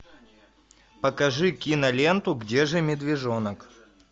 покажи киноленту где же медвежонок